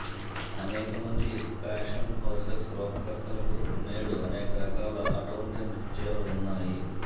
అనేక మంది fashion houses రూపకర్తలకు నేడు అనేక రకాల అటువంటి నృత్యాలు ఉన్నాయి